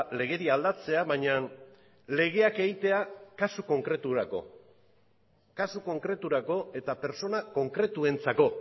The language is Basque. legedia aldatzea baina legeak egitea kasu konkreturako kasu konkreturako eta pertsona konkretuentzako